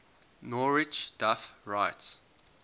norwich duff writes